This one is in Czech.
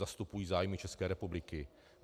Zastupují zájmy České republiky.